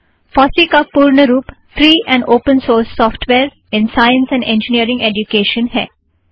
FOSSEE का पूर्ण रूप free and open source software in science and engineering education है